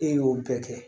E y'o bɛɛ kɛ